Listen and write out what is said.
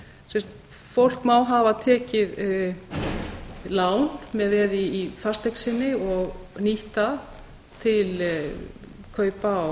ráðstafað fólk má hafa tekið lán með veði í fasteign sinni og nýtt það til kaupa á